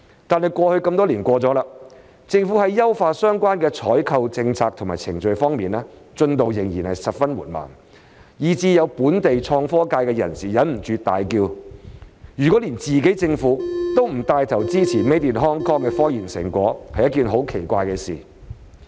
"但這麼多年已過去，政府在優化相關的採購政策及程序方面，進度仍然十分緩慢，以至有本地創科界人士忍不住大叫，如果連自己政府都不帶頭支持 Made in Hong Kong 的科研成果，是一件很奇怪的事。